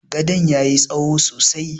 Gadon ya yi tsaho sosai.